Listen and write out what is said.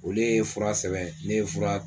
Olu ye fura sɛbɛn ne ye fura.